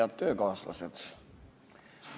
Head töökaaslased!